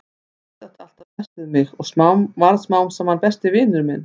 Hassið átti alltaf best við mig og varð smám saman besti vinur minn.